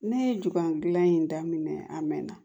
Ne ye ju gilan in daminɛ a mɛn na